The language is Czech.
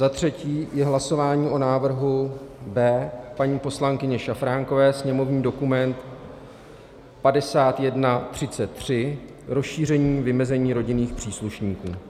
Za třetí je hlasování o návrhu B paní poslankyně Šafránkové, sněmovní dokument 5133 - rozšíření vymezení rodinných příslušníků.